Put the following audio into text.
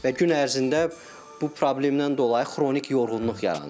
Və gün ərzində bu problemdən dolayı xronik yorğunluq yaranır.